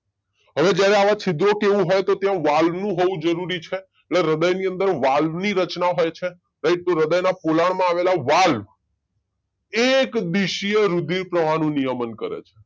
હવે જયારે આવા છિદ્રો કે એવું હોય તો ત્યાં વાલ નું હોવું જરૂરી છે એટલે હ્રદયની અંદર વાલ ની રચના હોય છે રાઈટ તો હૃદયના પોલાળ આ આવેલા વાળ એક દીશીએ રુધિર પ્રવાહ નો નિયમન કરે છે